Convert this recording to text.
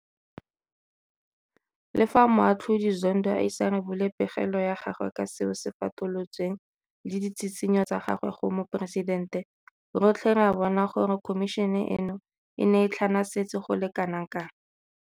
Le fa Moatlhodi Zondo a ise a rebole pegelo ya gagwe ka seo se fatolotsweng le ditshitshinyo tsa gagwe go Moporesitente, rotlhe re a bona gore khomišene eno e ne e tlhanasetse go le kana kang.